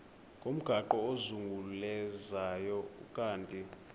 ngomgaqo ozungulezayo ukanti